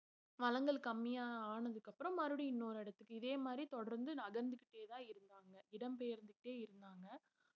வளங்கள் கம்மியா ஆனதுக்கு அப்புறம் மறுபடியும் இன்னொரு இடத்துக்கு இதே மாதிரி தொடர்ந்து நகர்ந்துக்கிட்டேதான் இருந்தாங்க இடம் பெயர்ந்துட்டே இருந்தாங்க